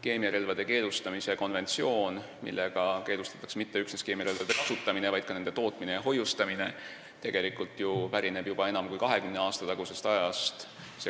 Keemiarelvade keelustamise konventsioon, millega ei keelustata mitte üksnes keemiarelvade kasutamist, vaid ka nende tootmine ja hoiustamine, pärineb ju tegelikult juba enam kui 20 aasta tagusest ajast.